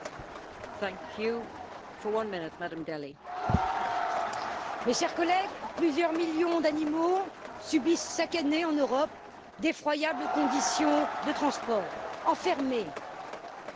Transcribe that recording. Madame la Présidente, mes chers collègues, plusieurs millions d'animaux subissent chaque année, en Europe, d'effroyables conditions de transport ils sont enfermés, exploités, violentés.